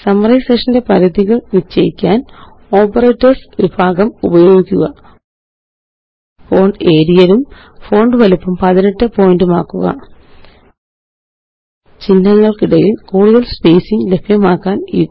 സമ്മേഷന്റെ പരിധികള് നിശ്ചയിക്കാന് ഓപ്പറേറ്റർസ് വിഭാഗം ഉപയോഗിക്കുക ഫോണ്ട്Arial ഉം ഫോണ്ട് വലിപ്പം 18 പോയിന്റുമാക്കുക ചിഹ്നങ്ങള്ക്കിടയില് കൂടുതല് സ്പേസിംഗ് ലഭ്യമാക്കാന്